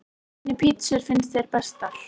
Hvernig pizzur finnst þér bestar?